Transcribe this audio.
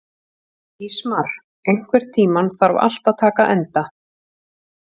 Ísmar, einhvern tímann þarf allt að taka enda.